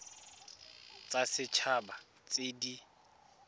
tsa set haba tse di